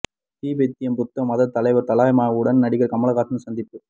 திபெத்திய புத்த மதத் தலைவர் தலாய் லாமாவுடன் நடிகர் கமல்ஹாசன் சந்திப்பு